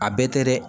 A bɛɛ tɛ dɛ